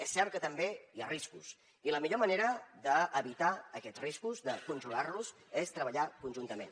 és cert que també hi ha riscos i la millor manera d’evitar aquests riscos de conjurar los és treballar conjuntament